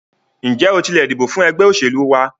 Ǹjẹ́ o tilẹ̀ dìbò fún ẹgbẹ́ òṣèlú wa?